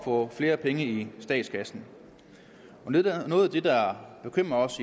få flere penge i statskassen noget af det der bekymrer os